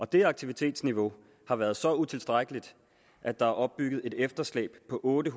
det aktivitetsniveau har været så utilstrækkeligt at der er opbygget et efterslæb på otte